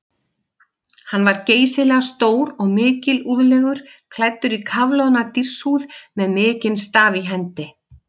Hann var geysilega stór og mikilúðlegur, klæddur í kafloðna dýrshúð með mikinn staf í hendi.